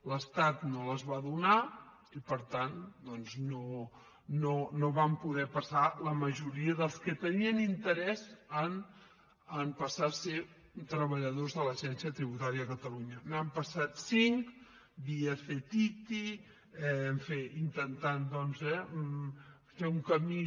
l’estat no les va donar i per tant doncs no van poder passar la majoria dels que tenien interès en passar a ser treballadors de l’agència tributària de catalunya n’han passat cinc via ctiti en fi intentant doncs eh fer un camí